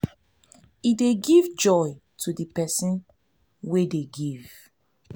e dey give joy to the person wey dey give